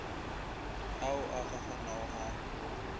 ao a kgakganago ga a